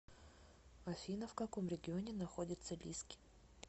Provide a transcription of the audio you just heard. афина в каком регионе находится лиски